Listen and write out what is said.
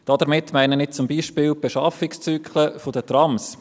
Damit meine ich zum Beispiel die Beschaffungszyklen der Trams.